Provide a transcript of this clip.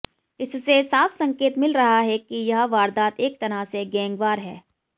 इससे साफ संकेत मिल रहा है कि यह वारदात एक तरह से गैंगवार है